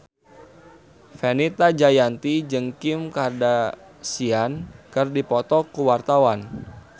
Fenita Jayanti jeung Kim Kardashian keur dipoto ku wartawan